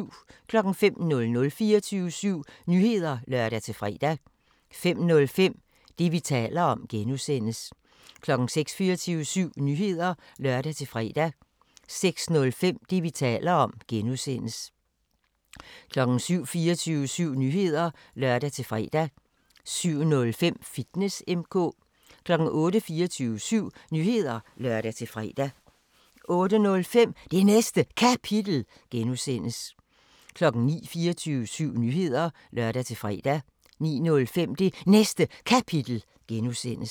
05:00: 24syv Nyheder (lør-fre) 05:05: Det, vi taler om (G) 06:00: 24syv Nyheder (lør-fre) 06:05: Det, vi taler om (G) 07:00: 24syv Nyheder (lør-fre) 07:05: Fitness M/K 08:00: 24syv Nyheder (lør-fre) 08:05: Det Næste Kapitel (G) 09:00: 24syv Nyheder (lør-fre) 09:05: Det Næste Kapitel (G)